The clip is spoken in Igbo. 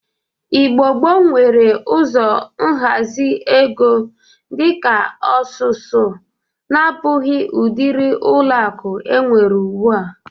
Igbo gboo nwere ụzọ nhazi ego dị ka osusu na-abụghi udịri ọlụakụ enwere ugbụ a.